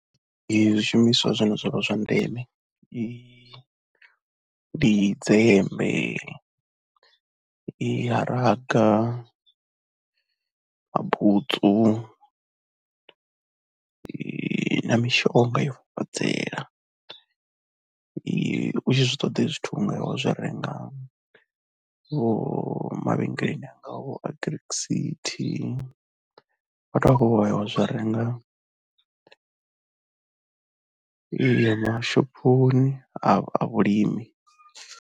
Zwishumiswa zwine zwa vha zwa ndeme ndi dzembe ya raga, mabutsu, ns mishonga ya u fafadzela u tshi zwi ṱoḓa hezwi zwithu u nga ya wa zwi renga vho mavhengeleni angaho agric city, vhathu vha khou ya vha zwi renga ayo mashophoni a vhulimi.